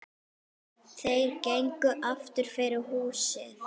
Þeir gengu aftur fyrir húsið.